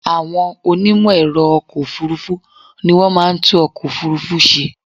Àwọn onímẹ̀ẹ̀rọ ọkọ̀ ọ̀furufú ni wọ́n máa ń tún ọkọ̀ òfurufú ṣe.